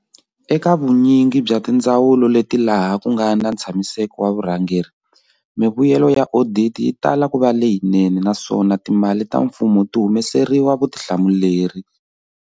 Eka vunyingi bya tindzawulo leti laha ku nga na ntshamiseko wa vurhangeri, mivuyelo ya oditi yi tala ku va leyinene naswona timali ta mfumo ti humeseriwa vutihlamuleri.